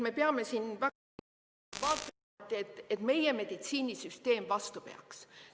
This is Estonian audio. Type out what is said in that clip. Me peame väga selgelt vaatama, et meie meditsiinisüsteem vastu peaks.